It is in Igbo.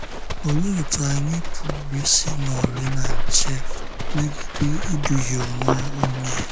Òlee otú anyị pụrụ isi nọrị na nche megide ịdùhie onwe onye?